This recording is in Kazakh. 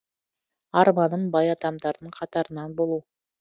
арманым бай адамдардың қатарынан болу